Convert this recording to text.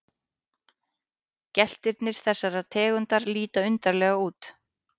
Geltirnir þessarar tegundar líta undarlega út.